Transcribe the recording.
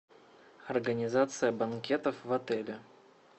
организация банкетов в отеле